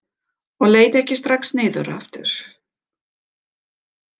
Og leit ekki strax niður aftur.